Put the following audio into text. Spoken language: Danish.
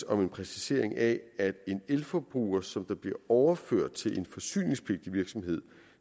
om en præcisering af at en elforbruger som bliver overført til en forsyningspligtig virksomhed